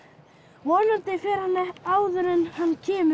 vonandi fer hann áður en hann kemur